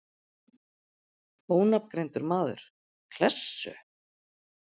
Ónafngreindur maður: Klessu?